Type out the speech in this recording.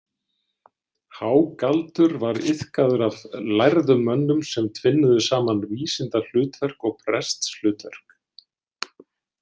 Hágaldur var iðkaður af lærðum mönnum sem tvinnuðu saman vísindahlutverk og prestshlutverk.